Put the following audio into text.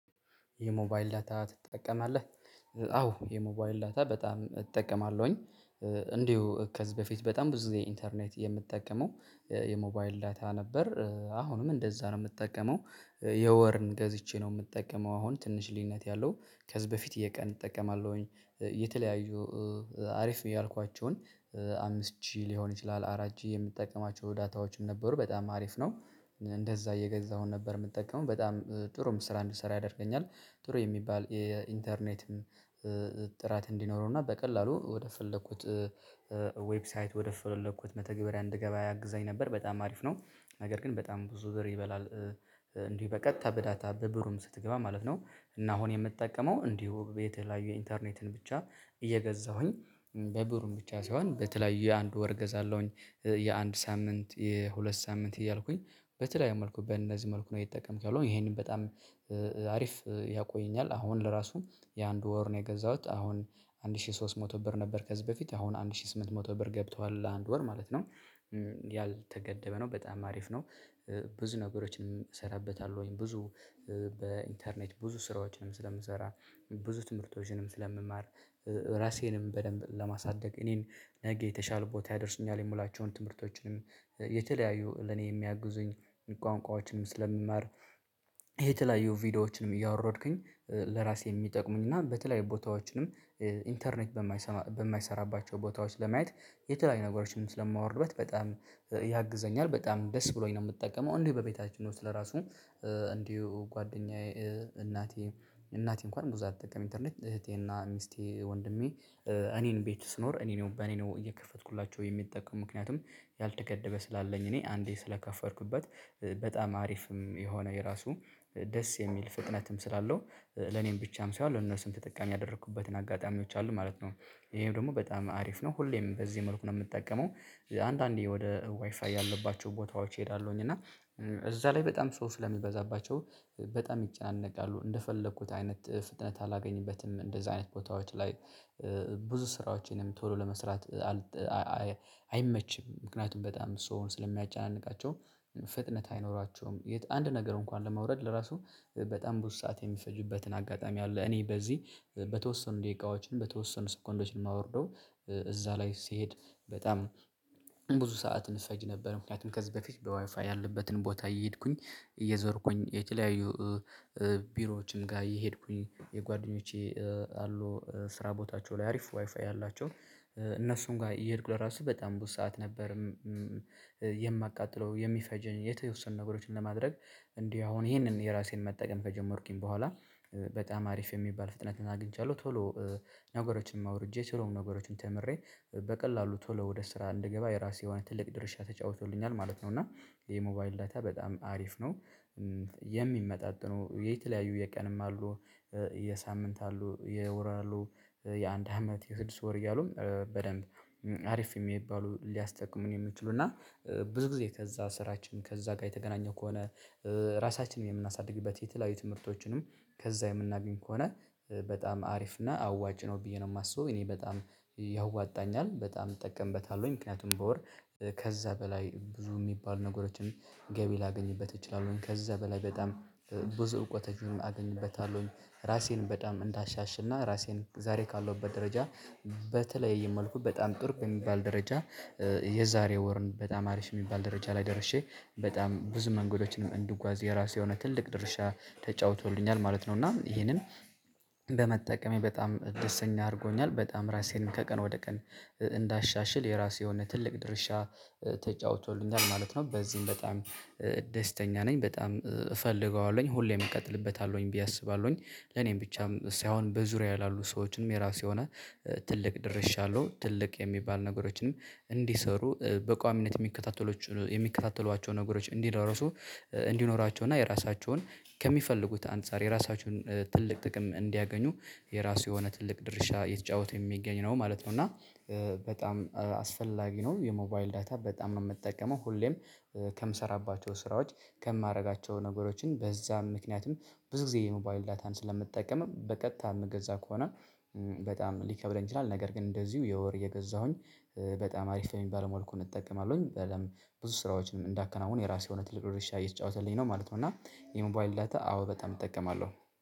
የሞባይል ዳታ ትጠቀማለህ? አዎ የሞባይል ዳታ በጣም እጠቀማለሁኝ። እንዲሁ ከዚህ በፊት በጣም ብዙ ጊዜ ኢንተርኔት የምጠቀመው የሞባይል ዳታ ነበር አሁንም እንደዛ ነው የምጠቀመው የወርን ገዝቼ ነው። የምጠቀመው አሁን ትንሽ ልዩነት ያለው። ከዚህ በፊት የቀን እጠቀማለሁኝ የተለያዩ አሪፍ ነው ያልኳቸውን። አምስት ጂቢ ሊሆን ይችላል አራት ጂቢ የምጠቀማቸው ዳታዎችን ነበሩ በጣም አሪፍ ነው። እንደዛ እየገዛሁ ነበር የምጠቀመው በጣም ጥሩም ስራ እንድትሰራ ያደርገኛል። ጥሩ የሚባል የኢንተርኔትም ጥራት እንዲኖረው እና በቀላሉ ወደ ፈለኩት። ዌብሳይት ወደፈለኩት መተግበሪያ እንድገባ ያግዘኝ ነበር በጣም አሪፍ ነው። ነገር ግን በጣም ብዙ ዘር ይበላል። እንግዲህ በቀጥታ በዳታ በብሩ ስትገባ ማለት ነው። እና አሁን የምጠቀመው እንዲሁ የተለያዩ የኢንተርኔትን ብቻ እየገዛሁኝ በብሩም ብቻ ሳይሆን በተለያዩ የአንድ ወር ገዛለሁኝ። የአንድ ሳምንት የሁለት ሳምንት እያልኩኝ በተለያየ መልኩ በእነዚህ መልኩ ነው የተጠቀምክ ያለው። ይሄንን በጣም አሪፍ ያቆየኛል። አሁን ለራሱ የአንድ ወር ነው የገዛሁት አሁን አንድ ሺህ ሶስት መቶ ብር ነበር ከዚህ በፊት አሁን አንድ ሺህ ስምንት መቶ ብር ገብቷል አንድ ወር ማለት ነው። ያልተገደበ ነው በጣም አሪፍ ነው። ብዙ ነገሮችን እሰራበታለሁኝ ብዙ በኢንተርኔት ብዙ ስራዎችንም ስለምሰራ ብዙ ትምህርቶችንም ስለምማር። ራሴንም በደንብ ለማሳደግ እኔን ነገ የተሻለ ቦታ ያደርሱኛል የምላቸውን ትምህርቶችንም የተለያዩ ለኔ የሚያግዙኝ ቋንቋዎችንም ስለምማር። የተለያዩ ቪዲዮዎችንም እያወረድኩኝ ለራሴ የሚጠቅሙኝ እና በተለያዩ ቦታዎችንም ኢንተርኔት በማይሰራባቸው ቦታዎች ለማየት የተለያዩ ነገሮችን ስለማወርድበት በጣም ያግዘኛል። በጣም ደስ ብሎኝ ነው የምጠቀመው። እንዲሁ በቤታችን ውስጥ ለራሱ እንዲሁ ጓደኛዬ እናቴ እናቴ እንኳን ብዙ አትጠቀምም ኢንተርኔት እህቴና ሚስቴ ወንድሜ። እኔን ቤት ስኖር እኔን በእኔ ነው እየከፈትኩላቸው የሚጠቀም ምክንያቱም። ያልተገደበ ስላለኝ እኔ አንዴ ስለከፈርኩበት። በጣም አሪፍም የሆነ የራሱ ደስ የሚል ፍጥነትም ስላለው። ለኔም ብቻም ሳይሆን ለነሱም ተጠቃሚ ያደረኩበትን አጋጣሚዎች አሉ ማለት ነው። ይሄም ደግሞ በጣም አሪፍ ነው ሁሌም በዚህ መልኩ ነው የምጠቀመው። አንዳንዴ ወደ ዋይፋይ ያለባቸው ቦታዎች እሄዳለሁኝ እና እዛ ላይ በጣም ሰው ስለሚበዛባቸው በጣም ይጨናነቃሉ እንደፈለኩት አይነት ፍጥነት አላገኝበትም እንደዚህ አይነት ቦታዎች ላይ። ብዙ ስራዎችንም ቶሎ ለመስራት። አይመችም ምክንያቱም በጣም ሰው ስለሚያጫናንቃቸው ፍጥነት አይኖራቸውም። የት አንድ ነገር እንኳን ለማውረድ ለራሱ በጣም ብዙ ሰዓት የሚፈጅበትን አጋጣሚ አለ። እኔ በዚህ በተወሰኑ ደቂቃዎችን በተወሰኑ ሰኮንዶችን ማውርደው እዛ ላይ ስሄድ። በጣም ብዙ ሰዓት እፈጅ ነበር ምክንያቱም ከዚህ በፊት በዋይፋ ያለበትን ቦታ እየሄድኩኝ እየዞርኩኝ የተለያዩ። ቢሮዎችን ጋር እየሄድኩኝ የጓደኞቼ አሉ ስራ ቦታቸው ላይ አሪፍ ዋይፋይ ያላቸው። እነሱን ጋር እየሄድኩ ለራሱ በጣም ብዙ ሰዓት ነበር። የማቃጥለው የሚፈጀኝ የተወሰኑ ነገሮችን ለማድረግ። እንዲህ አሁን ይሄንን የራሴን መጠቀም ከጀመርኩኝ በኋላ። በጣም አሪፍ የሚባል ፍጥነት አግኝቻለሁ። ቶሎ ነገሮችንም አውርጄ ስለሆኑ ነገሮችን ተምሬ በቀላሉ ቶሎ ወደ ስራ እንድገባ የራሴ የሆነ ትልቅ ድርሻ ተጫውቶልኛል። ማለት ነው። እና ይሄ ሞባይል ዳታ በጣም አሪፍ ነው። የሚመጣጥኑ የተለያዩ የቀንም አሉ የሳምንት አሉ የወር አሉ። የአንድ አመት የስድስት ወር እያሉ በደንብ አሪፍ የሚባሉ ሊያስጠቅሙን የሚችሉ እና። ብዙ ጊዜ ከዛ ስራችን ከዛ ጋር የተገናኘው ከሆነ። ራሳችንን የምናሳድግበት የተለያዩ ትምህርቶችንም ከዛ የምናገኝ ከሆነ። በጣም አሪፍ እና አዋጭ ነው ብዬ ነው የማስበው። እኔ በጣም ያዋጣኛል በጣም እጠቀምበታለሁኝ። ምክንያቱም በወር ከዛ በላይ ብዙ የሚባል ነገሮችን። ገቢ ላገኝበት እችላለሁኝ ከዛ በላይ በጣም ብዙ እውቀቶችንም አገኝበታለሁኝ። ራሴን በጣም እንዳሻሽልና ራሴን ዛሬ ካለውበት ደረጃ። በተለያየ መልኩ በጣም ጥሩ በሚባል ደረጃ። የዛሬ ወርን በጣም አሪፍ የሚባል ደረጃ ላይ ደርሼ በጣም ብዙ መንገዶችንም እንድጓዝ የራሱ የሆነ ትልቅ ድርሻ ተጫውቶልኛል ማለት ነው። እና ይሄንን በመጠቀሜ በጣም ደስተኛ አድርጎኛል። በጣም ራሴንም ከቀን ወደ ቀን እንዳሻሽል የራሴ የሆነ ትልቅ ድርሻ ተጫውቶልኛል ማለት ነው። በዚህም በጣም ደስተኛ ነኝ። በጣም እፈልገዋለሁኝ ሁሌም እቀጥልበታለሁኝ ብዬ አስባለሁኝ። ለኔም ብቻም ሳይሆን በዙሪያዬ ያሉ ሰዎችንም የራሱ የሆነ ትልቅ ደርሻለሁ ትልቅ የሚባል ነገሮችንም እንዲሰሩ በቋሚነት። የሚከታተሉዋቸው ነገሮች። እንዲኖራቸው እና የራሳቸውን ከሚፈልጉት አንፃር የራሳችሁን ትልቅ ጥቅም እንዲያገኙ። የራሱ የሆነ ትልቅ ድርሻ የተጫወተ የሚገኝ ነው ማለት ነው። እና በጣም አስፈላጊ ነው። የሞባይል ዳታ በጣም ነው የምጠቀመው ሁሌም ከምሰራባቸው ስራዎች። ከማደርጋቸው ነገሮችን በዛም ምክንያትም ብዙ ጊዜ የሞባይል ዳታን ስለምትጠቀምም በቀጥታ የምገዛ ከሆነ። በጣም ሊከብደኝ ይችላል። ነገር ግን እንደዚሁ የወር እየገዛሁኝ በጣም አሪፍ በሚባል መልኩ በደንብ ብዙ ስራዎችንም እንዳከናውን የራሱ የሆነ ትልቅ ድርሻ እየተጫወተልኝ ነው ማለት ነው። እና የሞባይል ዳታ አዎ በጣም እጠቀማለሁ።